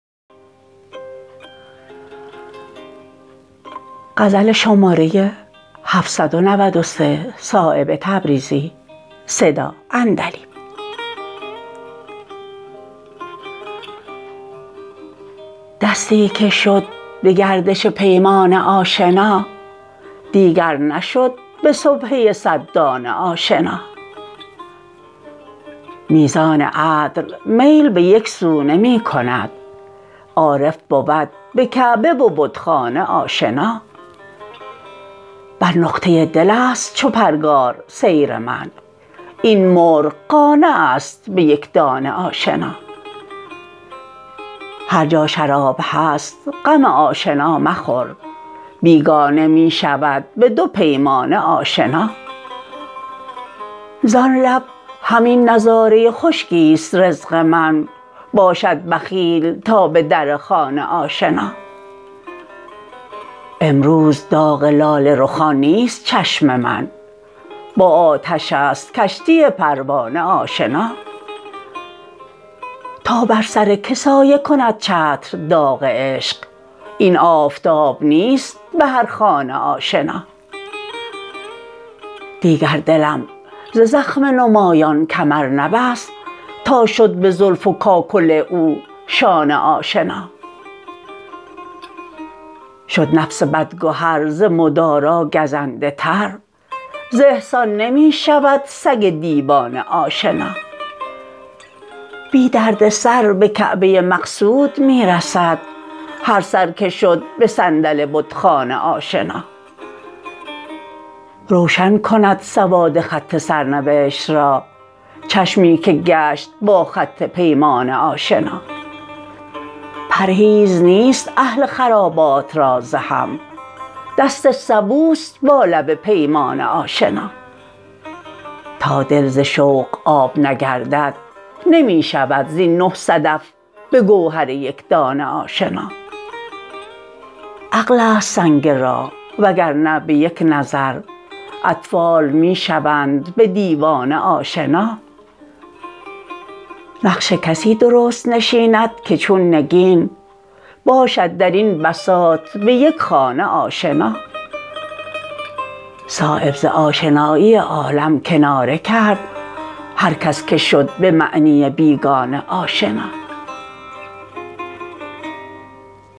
دستی که شد به گردش پیمانه آشنا دیگر نشد به سبحه صد دانه آشنا میزان عدل میل به یک سو نمی کند عارف بود به کعبه و بتخانه آشنا بر نقطه دل است چو پرگار سیر من این مرغ قانع است به یک دانه آشنا هر جا شراب هست غم آشنا مخور بیگانه می شود به دو پیمانه آشنا زان لب همین نظاره خشکی است رزق من باشد بخیل تا به در خانه آشنا امروز داغ لاله رخان نیست چشم من با آتش است کشتی پروانه آشنا تا بر سر که سایه کند چتر داغ عشق این آفتاب نیست به هر خانه آشنا دیگر دلم ز زخم نمایان کمر نبست تا شد به زلف و کاکل او شانه آشنا شد نفس بد گهر ز مدارا گزنده تر ز احسان نمی شود سگ دیوانه آشنا بی دردسر به کعبه مقصود می رسد هر سر که شد به صندل بتخانه آشنا روشن کند سواد خط سرنوشت را چشمی که گشت با خط پیمانه آشنا روشن کند سواد خط سرنوشت را چشمی که گشت با خط پیمانه آشنا پرهیز نیست اهل خرابات را ز هم دست سبوست با لب پیمانه آشنا تا دل ز شوق آب نگردد نمی شود زین نه صدف به گوهر یکدانه آشنا عقل است سنگ راه و گرنه به یک نظر اطفال می شوند به دیوانه آشنا نقش کسی درست نشیند که چون نگین باشد درین بساط به یک خانه آشنا صایب ز آشنایی عالم کناره کرد هر کس که شد به معنی بیگانه آشنا